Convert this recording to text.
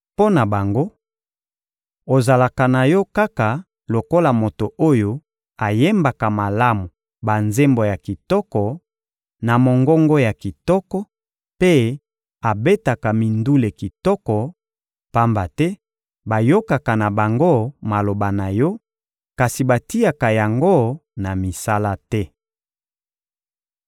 Mpo na bango, ozalaka na yo kaka lokola moto oyo ayembaka malamu banzembo ya kitoko, na mongongo ya kitoko, mpe abetaka mindule kitoko; pamba te bayokaka na bango maloba na yo, kasi batiaka yango na misala te.